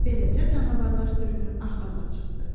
Beləcə canavarlar sürünün axırına çıxdı.